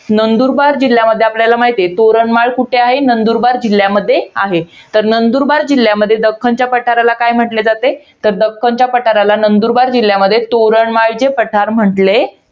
नंदुरबार जिल्ह्यामध्ये, आपल्याला माहित आहे. तोरणमाळ कुठे आहे? नंदुरबार जिल्ह्यामध्ये आहे. तर नंदुरबार जिल्ह्यामध्ये, दक्खनच्या पठाराला काय म्हंटले जाते? तर दक्खनच्या पठाराला नंदुरबार जिल्ह्यामध्ये, तोरणमाळचे पठार म्हंटले